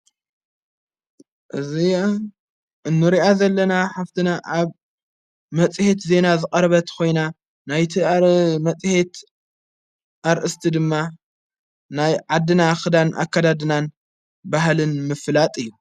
እዝ እኑርኣ ዘለና ሃፍትና ኣብ መጺሄት ዜና ዝቐርበትኾይና ናይቲ ኣረ መጺሔት ኣርእስቲ ድማ ናይ ዓድና ኽዳን ኣካዳድናን ባሃልን ምፍላጥ እዩ።